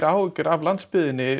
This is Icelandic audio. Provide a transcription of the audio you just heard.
áhyggjur af landsbyggðinni